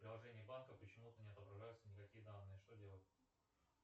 в приложении банка почему то не отображаются никакие данные что делать